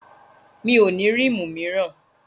Mi ò ní rímù míràn.